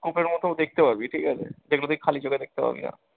খপের মতো দেখতে পাবি ঠিকাছে যেগুলো তুই খালি চোখে দেখতে পাবিনা।